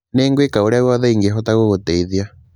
Nĩ ngwĩka ũrĩa wothe ingĩhota gũgũteithia